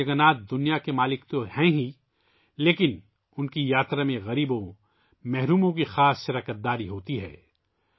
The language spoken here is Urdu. بھگوان جگن ناتھ جگت کے مالک تو ہیں ہی لیکن ان کی یاترا میں غریبوں، محروموں کی خصوصی شرکت ہوتی ہے